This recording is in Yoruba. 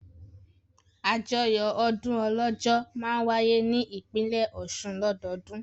Àjọyọ̀ ọdún Ọlọ́jọ́ máa wáyé ní ìpínlẹ̀ Ọ̀ṣun lọ́dọọdún.